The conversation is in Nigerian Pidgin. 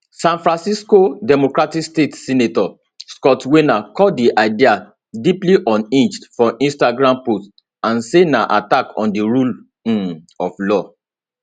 san francisco democratic state senator scott wiener call di idea deeply unhinged for instagram post and say na attack on di rule um of law